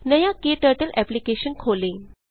नया KTurtle application खोलें